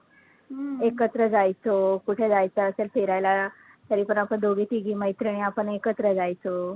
एकत्र जायचो, कुठे जायचं असेल फिरायला तरीपण आपण दोघी तिघी मैत्रिणी आपण एकत्र जायचो.